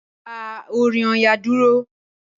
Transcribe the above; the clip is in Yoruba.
Dá orin Ọya dúró.